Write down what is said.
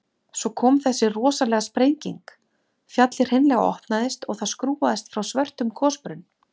Svo kom þessi rosalega sprenging, fjallið hreinlega opnaðist og það skrúfaðist frá svörtum gosbrunn.